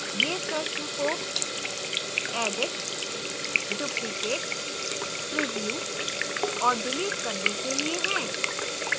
ये प्रश्न को edit duplicate preview और delete करने के लिए हैं